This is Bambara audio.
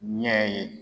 Ɲɛ ye